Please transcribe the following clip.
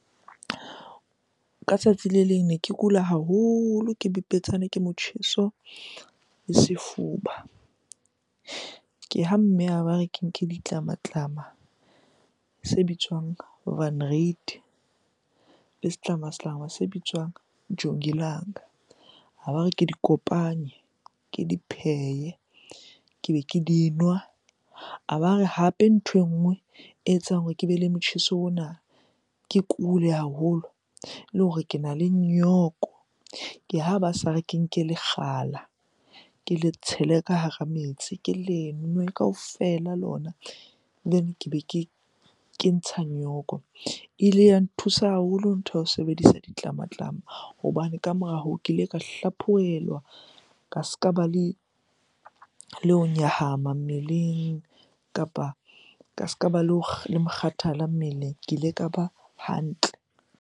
Ka tsatsi le leng ne ke kula haholo, ke bipetsane ke motjheso le sefuba. Ke ha mme a ba re ke nke ditlamatlama se bitswang le setlamatlama se bitswang jongilanga. A ba re ke di kopanye, ke di phehe, ke be ke di nwa. A ba re hape nthwe nngwe e etsang hore ke be le motjheso ona, ke kule haholo le hore kena le nyoko. Ke ha ba sa re ke nke lekgala, ke le tshele ka hara metsi, ke le nwe kaofela lona ke be ke ke ntsha nyoko. E ile ya nthusa haholo ntho ya ho sebedisa ditlamatlama hobane ka mora hoo, ke ile ka hlaphohelwa. Ka ska ba le ho nyahama mmeleng, kapa ka ska ba le ho mokgathala mmeleng. Ke ile ka ba hantle.